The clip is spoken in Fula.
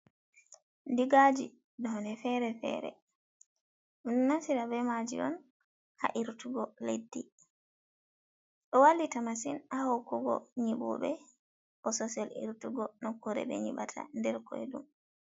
Digaji none fere-fere, ɗon naftira be maji on ha irtugo leddi, ɗo wallita masin ha hokugo nyibuɓe bo sosel irtugo nokkure, be nyibata nder koi ɗum.